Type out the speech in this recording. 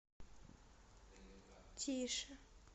тише